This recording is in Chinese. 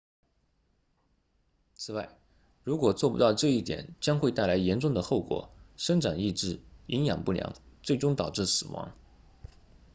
此外如果做不到这一点将会带来严重的后果生长抑制营养不良最终导致死亡